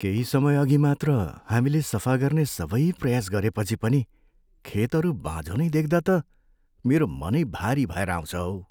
केही समयअघि मात्र हामीले सफा गर्ने सबै प्रयास गरेपछि पनि खेतहरू बाँझो नै देख्दा त मेरो मनै भारी भएर आउँछ हौ।